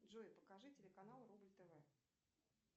джой покажи телеканал рубль тв